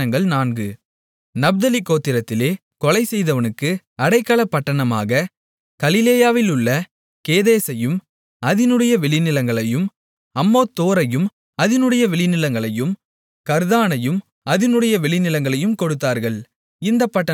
நப்தலி கோத்திரத்திலே கொலைசெய்தவனுக்கு அடைக்கலப்பட்டணமாக கலிலேயாவிலுள்ள கேதேசையும் அதினுடைய வெளிநிலங்களையும் அம்மோத்தோரையும் அதினுடைய வெளிநிலங்களையும் கர்தானையும் அதினுடைய வெளிநிலங்களையும் கொடுத்தார்கள் இந்தப் பட்டணங்கள் மூன்று